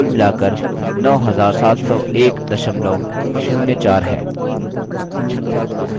ध्यान दें कि कुल मिलाकर 970104 है